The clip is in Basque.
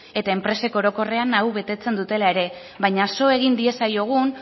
eta enpresek orokorrean hau betetzen dutela ere baina so egin diezaiogun